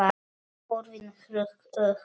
Hurðin hrökk upp!